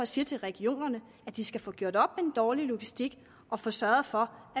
siger til regionerne at de skal få gjort op med den dårlige logistik og få sørget for